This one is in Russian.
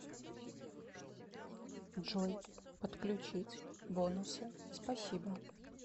джой подключить бонусы спасибо